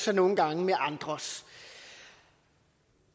så nogle gange med andres